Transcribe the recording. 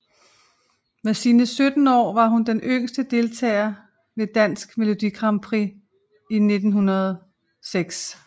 Med sine 17 år var hun den yngste deltager ved Dansk Melodi Grand Prix i 2006